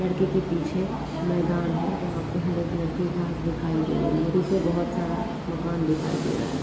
लड़के के पीछे मैदान है जँहा पे हरे कलर के घास दिखाई दे रही है पीछे बहुत सारा मकान दिखाई दे रहा है।